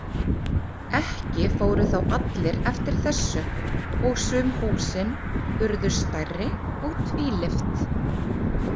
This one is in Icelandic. Ekki fóru þó allir eftir þessu og sum húsin urðu stærri og tvílyft.